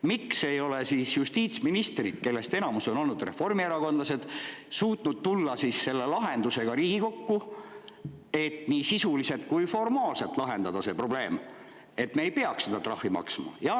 Miks ei ole justiitsministrid, kellest enamus on olnud reformierakondlased, suutnud tulla selle lahendusega Riigikokku, et see probleem nii sisuliselt kui ka formaalselt lahendada, et me ei peaks seda trahvi maksma?